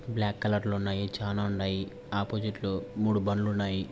Black colour లో ఉండాయి చానా ఉన్నాయి. ఒప్పోసిట్ లో మూడు బండ్లు ఉన్నాయి.